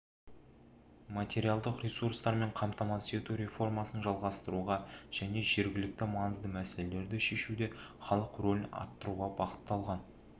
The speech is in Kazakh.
материалдық ресурстармен қамтамасыз ету реформасын жалғастыруға және жергілікті маңызды мәселелерді шешуде халық рөлін арттыруға бағытталған